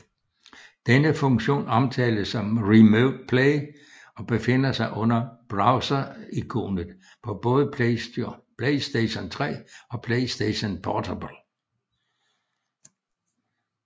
Denne funktion omtales som Remote Play og befinder sig under browserikonet på både PlayStation 3 og PlayStation Portable